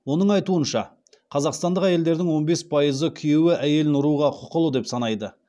оның айтуынша қазақстандық әйелдердің он бес пайызы күйеуі әйелін ұруға құқылы деп санайды